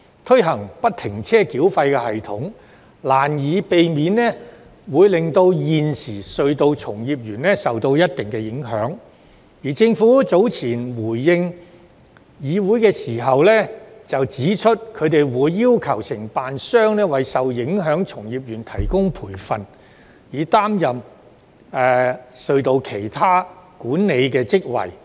推行不停車繳費系統，難以避免令現時隧道從業員受到一定影響，而政府早前回應議會時指出，它會要求承辦商為受影響的從業員提供培訓，以擔任其他有關管理隧道的職位。